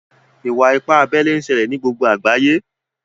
Àwọn ìwà-ìpà àbèlè n ṣèlè ní gbogbo àgbàyé.